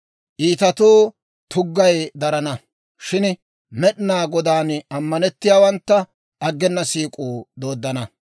Iitatoo tuggay darana; shin Med'inaa Godaan ammanettiyaawantta, aggena siik'uu dooddana.